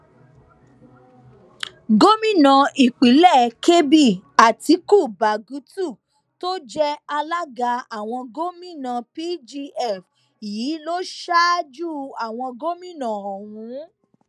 gómìnà ìpínlẹ kebbi àtiku bagutu tó jẹ alága àwọn gòmìnà pgf yìí ló ṣáájú àwọn gómìnà ọhún